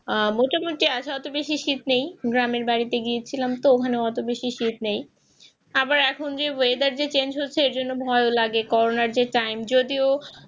এখন অত শীত নেই গ্রামের বাড়িতে গিয়েছিলাম তো ওখানে অত বেশি শীত নেই আবার এখন যেহেতু weather যে change হচ্ছে এর জন্য ভয় লাগে করোনা যে time যদিও